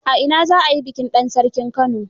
A ina za a yi bikin dan sarkin Kano?